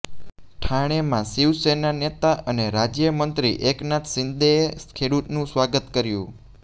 ઠાણેમાં શિવસેના નેતા અને રાજ્ય મંત્રી એકનાથ શિંદેએ ખેડૂતોનું સ્વાગત કર્યું